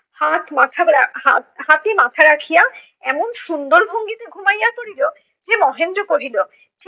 হাত মাথা হাতে মাথা রাখিয়া এমন সুন্দর ভঙ্গিতে ঘুমাইয়া পড়িলো যে মহেন্দ্র কহিলো